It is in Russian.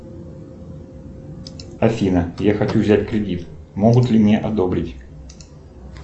афина я хочу взять кредит могут ли мне одобрить